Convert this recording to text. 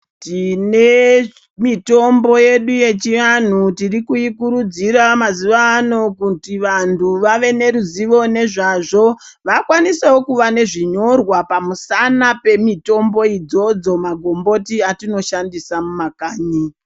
Tine mitombo yedu yechiantu tirikuikurudzira mazuva ano kuti vantu vave neruzivo nezvazvo vakwanisevo kuva nezvinyorwa pamusana pemitombo idzodzo, magomboti atinoshandisa muma kanyi.